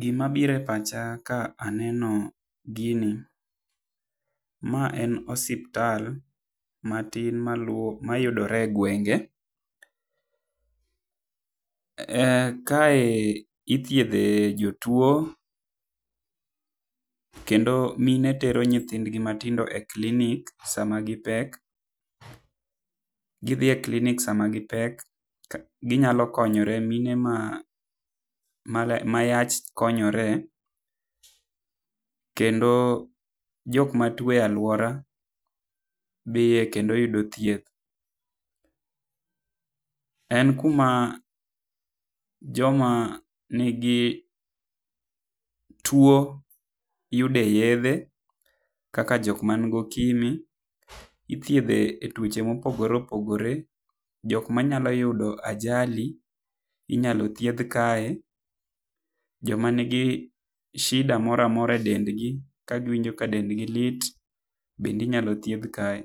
Gi ma biro e pacha ka aneno gini, ma en osiptal ma matin ma luwo ma yuodre e gwenge kae ithiedhe jotuo kendo mine tero nyithind gi matindo e klinik sa ma gi pek, gi dhie klinik sa ma gi pek, gi nyalo konyore mine ma yach konyore , kendo jok ma tuo e aluora dhiye kendo yudo thieth. En ku ma jo ma ni gi tuo yude yedhe kaka jok man gi okimwi ithiedhe jok ma opogore opogore jok ma nyalo yudo ajali inyalo thiedh kae, jok ma ni gi shida moro amora e dend gi ka gi winjo ka dend gi lit bende inyalo thiedh kae